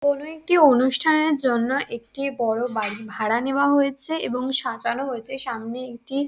কোনো একটি অনুষ্ঠানের জন্য একটি বড়ো বাড়ি ভাড়া নেওয়া হয়েছে এবং সাজানো হয়েছে সামনে একটি --